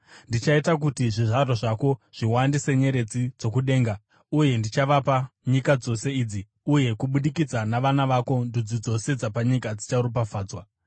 Ndichaita kuti zvizvarwa zvako zviwande senyeredzi dzokudenga uye ndichavapa nyika dzose idzi, uye kubudikidza navana vako ndudzi dzose dzapanyika dzicharopafadzwa,